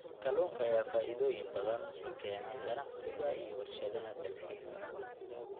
Kalluunka ayaa faa'iidooyin badan u keena ganacsiga iyo warshadaha dalxiiska.